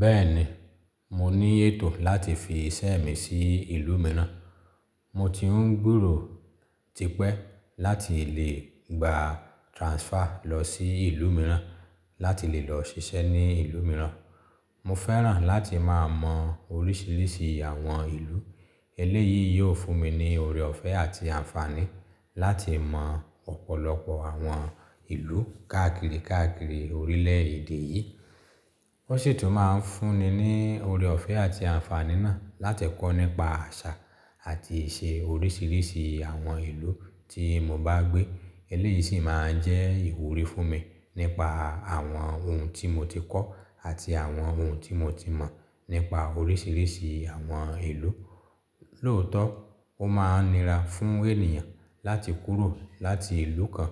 Bẹ́ẹ̀ni, mo ní ètò láti fi iṣẹ́ mi sí ìlú mìíràn. Mo ti ń gberò tipẹ́ láti lè gba transfer lọ sí ìlú mìíràn láti lè lọ ṣiṣẹ́ ní ìlú mìíràn. Mo fẹ́ràn láti máa mọ oríṣìíríṣìí àwọn ìlú. Eléyìí yóò fún mi ní ọorẹ ọ̀fẹ́ àti àǹfààní láti mọ ọ̀pọ̀lọpọ̀ àwọn ìlú káàkiri káàkiri orílẹ̀ èdè yìí. Ó sì tún máa ń fún ni ní ọorẹ ọ̀fẹ́ àti àǹfààní náà láti kọ́ nípa àṣà àti ìṣe oríṣìíríṣìí àwọn ìlú tí mo bá gbé. Eléyìí sì máa n jẹ́ ìwúrí fún mi nípa àwọn ohun tí mo ti kọ́ àti àwọn ohun tí mo ti mọ̀ nípa oríṣìíríṣìí àwọn ìlú. Lóòótọ́, ó máa ń nira fún ènìyàn láti kúrò láti ìlú kan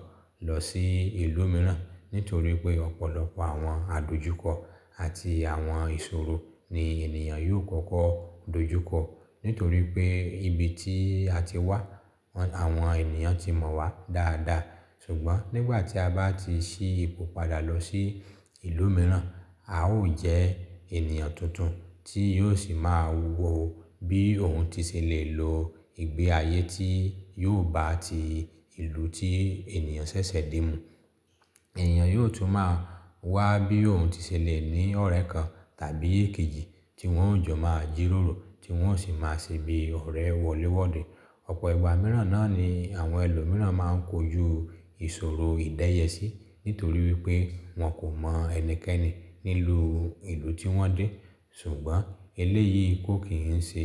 lọ sí ìlú mìíràn nítorí pé ọ̀pọ̀lọpọ̀ àwọn àdojúkọ àti àwọn ìṣòro ni ènìyàn yóò kọ́kọ́ dojúkọ. Nítorí pé ibi tí a ti wà, àwọn ènìyàn ti mọ̀ wà dáadáa. Ṣùgbọ́n nígbà tí a bá ti ṣí ipò padà lọ sí ìlú mìíràn, a ó jẹ́ ènìyàn tuntun tí yóò sì máa wò ó bí òun ti ṣe lè lo ìgbé ayé tí yóò bá ti ìlú tí ènìyàn ṣẹ̀ṣẹ̀ dé mú. Ẹ̀eyàn yóò tún máa wà bí òun ti ṣe lè ní ọ̀rẹ́ kan tàbí èkejì tí wọ́n ó jọ máa jíròrò, tí wọ́n ó sì máa ṣe bií ọ̀rẹ́ wọléwọ́de. Ọ̀pọ̀ ìgbà mìíràn náà ni àwọn ẹlòmíràn máa ń kojú ìṣòro ìdẹ́yẹsí nítorí wípé wọ́n kò mọ ẹnikẹ́ni nílùú ìlú tí wọ́n dé. Ṣùgbọ́n eléyìí kò kì n ṣe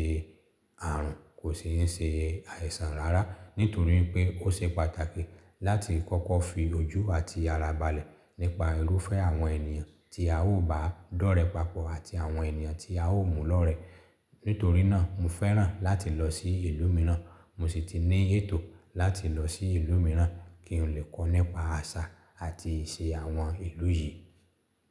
ààrùn, kò sì ń ṣe àìsàn rárá nítorí pé ó ṣe pàtàkì láti kọ́kọ́ fi ojú àti ara balẹ̀ nípa irúfẹ́ àwọn ènìyàn tí a ó bá dọ́rẹ̀ papọ̀ àti àwọn ènìyàn tí a ó múlọ́rẹ́. Nítorí náà, mo fẹ́ràn láti lọ sí ìlú mìíràn, mo sì ti ní ètò láti lọ sí ìlú mìíràn kí n lè kọ́ nípa àṣà àti ìṣe àwọn ìlú yìí.